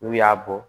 N'u y'a bɔ